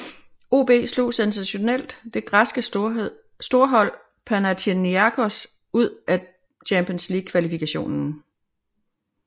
OB slog sensationelt det græske storhold Panathinaikos ud af Champions League Kvalifikation